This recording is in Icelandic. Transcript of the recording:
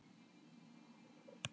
En pabbi hló.